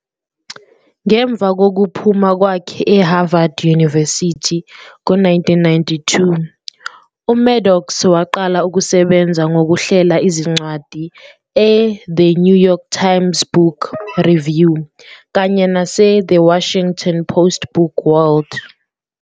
Ngemva kokuphuma kwakhe e-Harvard University ngo 1992, uMaddox waqala ukusebenza ngokuhlela izincwadi e-"The New York Times Book Review" kanye nase "The Washington Post Book World".